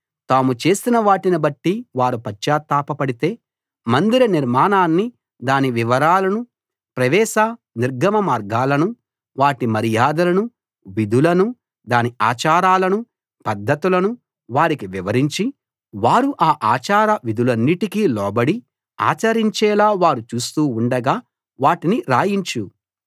తాము చేసినవాటిని బట్టి వారు పశ్చాత్తాపపడితే మందిర నిర్మాణాన్ని దాని వివరాలను ప్రవేశ నిర్గమ మార్గాలను వాటి మర్యాదలను విధులను దాని ఆచారాలను పద్ధతులను వారికి వివరించి వారు ఆ ఆచారవిధులన్నిటికి లోబడి ఆచరించేలా వారు చూస్తూ ఉండగా వాటిని రాయించు